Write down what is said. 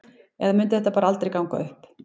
Eða mundi þetta bara aldrei ganga upp?